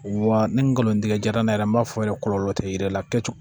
Wa ni n galon tigɛ yɛrɛ n m'a fɔ yɛrɛ kɔlɔlɔ te yi yɛrɛ la kɛ